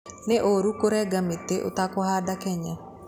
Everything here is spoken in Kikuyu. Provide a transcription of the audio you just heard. Nĩ ũũru kũrenga mĩtĩ ũtekũhanda Kenya.